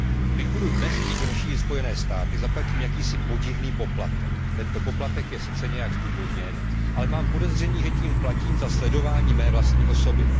Když budu dnes chtít navštívit Spojené státy, zaplatím jakýsi podivný poplatek. Tento poplatek je sice nějak zdůvodněn, ale mám podezření, že tím platím za sledování své vlastní osoby.